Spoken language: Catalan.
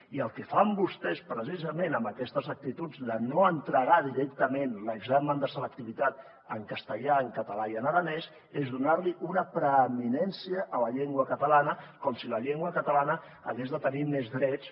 i el que fan vostès precisament amb aquestes actituds de no entregar directament l’examen de selectivitat en castellà en català i en aranès és donar li una preeminència a la llengua catalana com si la llengua catalana hagués de tenir més drets